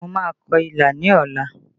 Mo máa kọ ilà ní ọ̀la